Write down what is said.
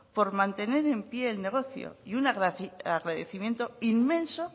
por mantener en pie el negocio y un agradecimiento inmenso